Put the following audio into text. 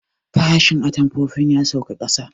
Farashin atamfofin ya sauka ƙasa